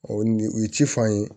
O ni u ye ci f'an ye